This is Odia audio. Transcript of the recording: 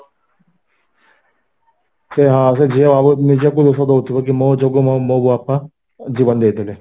ସେ ହଁ ସେ ଝିଅ ନିଜକୁ ଦୋଷ ଦଉଥିବ କି ମୋ ଯୋଗୁଁ ମୋ ବାପା ଜୀବନ ଦେଇଦେଲେ